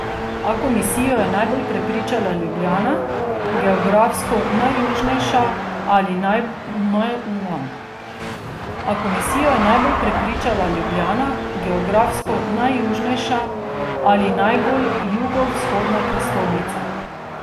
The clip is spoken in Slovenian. A komisijo je najbolj prepričala Ljubljana, geografsko najjužnejša ali najbolj jugovzhodna prestolnica.